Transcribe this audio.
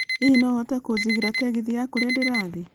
Hihi no ũhote kũnjigĩra tegithĨ ya kũrĩa ndĩrathiĩ